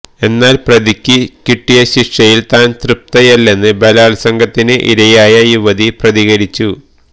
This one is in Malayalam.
എന്നാല് പ്രതിക്ക് കിട്ടിയ ശിക്ഷയില് താന് തൃപ്തയല്ലെന്ന് ബലാത്സംഗത്തിന് ഇരയായ യുവതി പ്രതികരിച്ചു